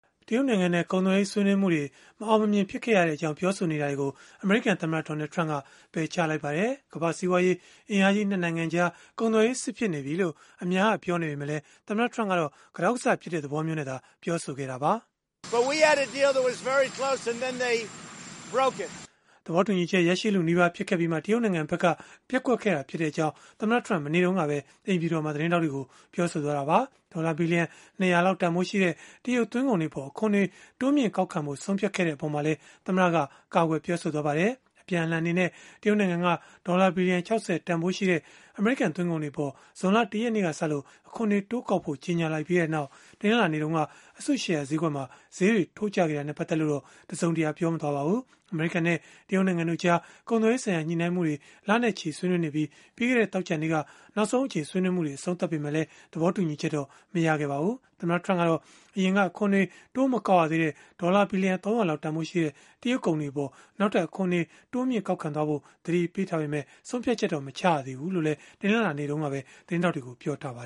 တရုတ်နိုင်ငံနဲ့ ကုန်သွယ်ရေး ဆွေးနွေးမှုတွေ မအောင်မမြင် ဖြစ်ခဲ့ရကြောင်း ပြောဆိုနေတာတွေကို အမေရိကန်သမ္မတ Donald Trump က ပယ်ချလိုက်ပါတယ်။ ကမ္ဘာ့စီးပွားရေး အင်အားကြီး ၂ နိုင်ငံကြား ကုန်သွယ်ရေးစစ် ဖြစ်နေပြီလို့ အများက ပြောနေပေမဲ့လည်း သမ္မတ Trump ကတော့ ကတောက်ကဆ ဖြစ်ကြတဲ့ သဘောမျိုးအဖြစ်နဲ့သာ ပြောဆိုခဲ့တာပါ။ သဘောတူညီချက် ရရှိလုနီးပါး ဖြစ်ခဲ့ပြီးမှ တရုတ်နိုင်ငံဘက်က ပျက်ကွက်ခဲ့ကြောင်း သမ္မတ Trump က မနေ့တုန်းကပဲ အိမ်ဖြူတော်မှာ ပြောဆိုသွားတာပါ။ ဒေါ်လာ ဘီလီယံ ၂၀၀ တန်ဖိုးရှိတဲ့ တရုတ်သွင်းကုန်တွေအပေါ် အခွန်တွေ တိုးမြှင့်ကောက်ခံဖို့ ဆုံးဖြတ်ခဲ့တဲ့ အပေါ်မှာလည်း သမ္မတက ကာကွယ်ပြောဆိုသွားပါတယ်။ အပြန်အလှန်အနေနဲ့ တရုတ်နိုင်ငံက ဒေါ်လာဘီလီယံ ၆၀ တန်ဖိုးရှိတဲ့ အမေရိကန် သွင်းကုန်တွေအပေါ် ဇွန်လ ၁ ရက်နေ့ကစလို့ အခွန်တွေတိုးကောက်ဖို့ ကြေညာလိုက်ပြီးနောက် တနင်္လာနေ့တုန်းက အစုရှယ်ယာဈေးကွက်မှာ ဈေးတွေ ထိုးကျခဲ့တာနဲ့ ပတ်သက်လို့တော့ တစုံတရာ ပြောဆိုသွားတာ မရှိပါဘူး။ အမေရိကန်နဲ့ တရုတ်နိုင်ငံတို့ကြား ကုန်သွယ်ရေးဆိုင်ရာ ညှိနှိုင်းမှုတွေကို လနဲ့ချီဆွေးနွေးနေပြီး ပြီးခဲ့တဲ့ သောကြာနေ့က နောက်ဆုံးအကြိမ်ဆွေးနွေးမှု အဆုံးသတ်ခဲ့ပေမဲ့ သဘောတူညီချက်တော့ မရခဲ့ကြပါဘူး။ သမ္မတ Trump ကတော့ အရင်က အခွန်တွေ တိုးမကောက်ရသေးတဲ့ ဒေါ်လာဘီလီယံ ၃၀၀ လောက်တန်ဖိုးရှိတဲ့ တရုတ်ကုန်တွေအပေါ် နောက်ထပ် အခွန်တွေ တိုးမြှင့်ကောက်ခံသွားဖို့ သတိပေးထားပေမဲ့ ဆုံးဖြတ်ချက်တော့ မချရသေးဘူးလို့လည်း တနင်္လာနေ့တုန်းကပဲ သတင်းထောက်တွေကို ပြောဆိုထားပါ